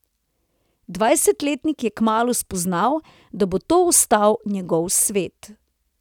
Dvajsetletnik je kmalu spoznal, da bo to ostal njegov svet.